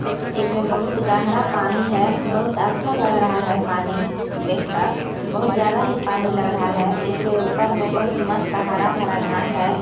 इसमें बहुत गहरा पानी है बहुत अच्छा लग रहा है पानी देखकर बहुत ज्यादा ही पानी लग रहा है इससे ऊपर मे बहुत मस्त हरा भरा घास है।